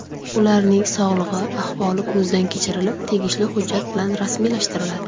Ularning sog‘lig‘i, ahvoli ko‘zdan kechirilib, tegishli hujjat bilan rasmiylashtiriladi.